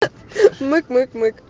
мык мык